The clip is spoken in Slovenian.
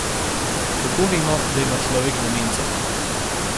Kako vemo, da ima človek demenco?